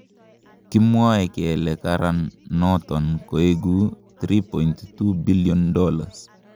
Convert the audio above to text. Kimwoe kele karam nenoton koigu $3.2bn.